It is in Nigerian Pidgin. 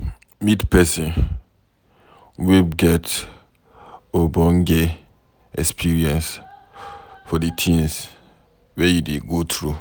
Meet person wey get ogbonge experience for di thing wey you dey go through